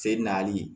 Se nali